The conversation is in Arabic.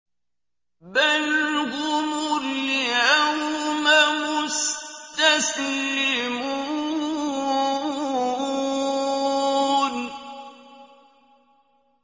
بَلْ هُمُ الْيَوْمَ مُسْتَسْلِمُونَ